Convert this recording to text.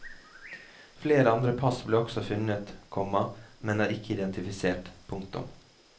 Flere andre pass ble også funnet, komma men er ikke identifisert. punktum